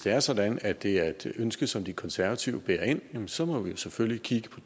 er sådan at det er et ønske som de konservative bærer ind så må vi jo selvfølgelig kigge på